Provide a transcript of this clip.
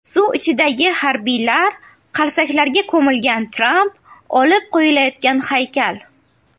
Suv ichidagi harbiylar, qarsaklarga ko‘milgan Tramp, olib qo‘yilayotgan haykal.